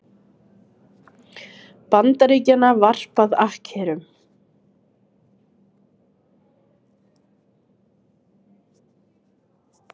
Bandaríkjanna varpað akkerum.